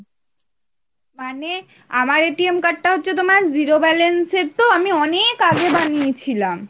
মানে